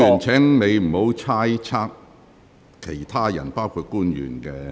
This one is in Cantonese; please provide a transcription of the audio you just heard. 請委員不要猜測其他人，包括官員的......